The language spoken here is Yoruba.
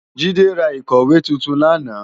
Jide rá ikòwé tútún làná